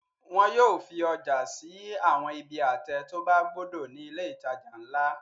Wọn yóò fi ọjà sí àwọn ibi àtẹ tó bá gbódò ní ilé-ìtajà ńlá.